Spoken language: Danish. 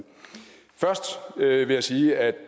først vil jeg sige at